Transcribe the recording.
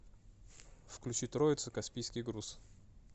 включи троица каспийский груз